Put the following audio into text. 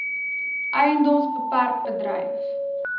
edms bpk bedryf